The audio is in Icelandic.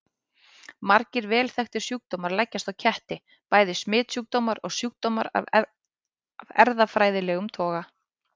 Margir vel þekktir sjúkdómar leggjast á ketti, bæði smitsjúkdómar og sjúkdómar af erfðafræðilegum toga.